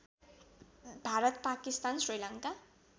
Bharat Pakistan Sri Lanka